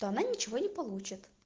она ничего не получится